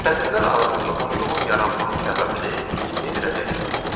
Sətirlər arasında boşluğun yaranması səbəbini indi biləcəksiniz.